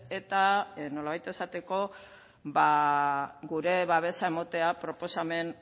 eta nolabait esateko gure babesa emotea proposamen